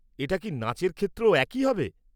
এটা কি নাচের ক্ষেত্রেও একই হবে?